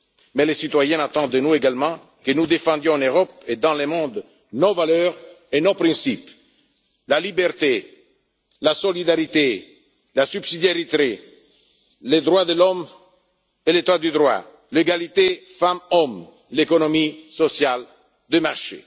Mais les citoyens attendent de nous également que nous défendions en Europe et dans le monde nos valeurs et nos principes la liberté, la solidarité, la subsidiarité, les droits de l'homme et l'état de droit, l'égalité entre les femmes et les hommes et l'économie sociale de marché.